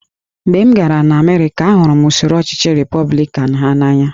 Mgbe m gara Amerịka, ahụrụ m usoro ọchịchị Repọblikan ha n’anya